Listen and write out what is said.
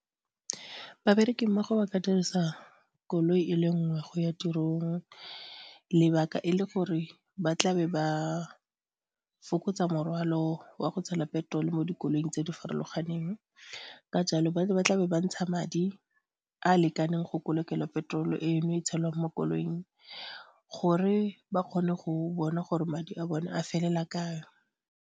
Babereki mmogo ba ka dirisa koloi e le nngwe go ya tirong, lebaka e le gore ba tla be ba fokotsa morwalo wa go tshela petrol-o mo dikoloing tse di farologaneng, ka jalo ba ne ba tla be ba ntsha madi a a lekaneng go kolekela petrol eno e tshelwang mo koloing gore ba kgone go bona gore madi a bone a felela kae.